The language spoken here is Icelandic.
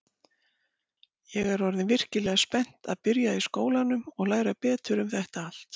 Ég er orðin virkilega spennt að byrja í skólanum og læra betur um þetta allt.